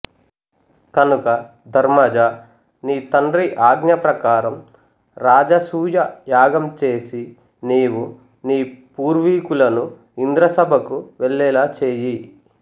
కనుక ధర్మజా నీ తండ్రి ఆజ్ఞ ప్రకారం రాజసూయ యాగం చేసి నీవు నీ పూర్వీకులను ఇంద్రసభకు వెళ్ళేలా చెయ్యి